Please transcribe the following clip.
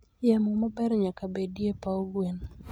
Yamo maber nyaka bedie e paw gwen.